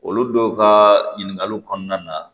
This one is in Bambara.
Olu dɔw ka ɲininkaliw kɔnɔna na